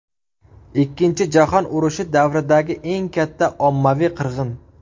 Ikkinchi jahon urushi davridagi eng katta ommaviy qirg‘in.